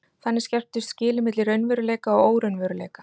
Þannig skerptust skilin milli raunveruleika og óraunveruleika.